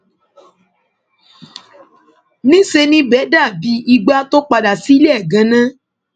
níṣẹ ni ibẹ dàbí igbà tó padà sílé ẹ ganan